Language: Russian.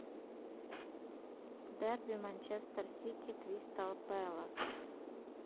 дерби манчестер сити кристал пэлас